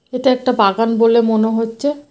এটা একটা বাগান বলে মনে হচ্ছে।